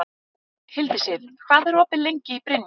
Hildisif, hvað er opið lengi í Brynju?